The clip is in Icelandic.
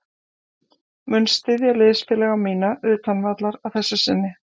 Mun styðja liðsfélaga mína utan vallar að þessu sinni.